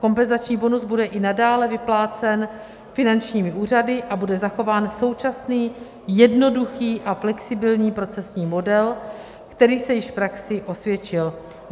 Kompenzační bonus bude i nadále vyplácen finančními úřady a bude zachován současný jednoduchý a flexibilní procesní model, který se již v praxi osvědčil.